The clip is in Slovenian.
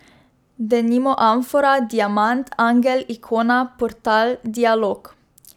Denimo amfora, diamant, angel, ikona, portal, dialog ...